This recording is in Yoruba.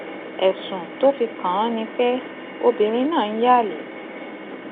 ẹsùn tó fi kàn án ni pé obìnrin náà ń yan àlè